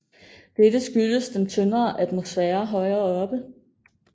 Dette skyldes den tyndere atmosfære højere oppe